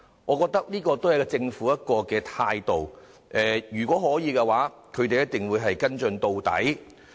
我認為這可見政府在處理事件上的另一態度，就是如果可以，必會跟進到底。